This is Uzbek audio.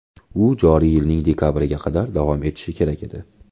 U joriy yilning dekabriga qadar davom etishi kerak edi.